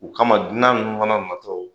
O kama dunan nunnu mana na tɔ